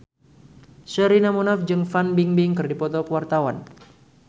Sherina Munaf jeung Fan Bingbing keur dipoto ku wartawan